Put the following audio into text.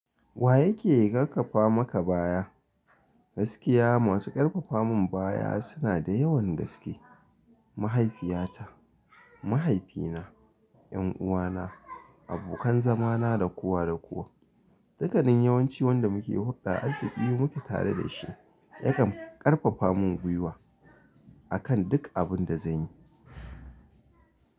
Wa yake ƙarfafa maka baya? Gaskiya masu ƙarfafa mun baya suna da yawan gaske. Mahaifiyata, mahaifina, 'yan uwana, abokan zama na, da kowa da kowa. Dukkanin yawanci wanda muke hulɗa asifi muke tare da shi yakan ƙarfafa min gwiwa akan duk abin da zan yi.